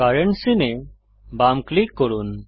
current scene এ বাম click করুন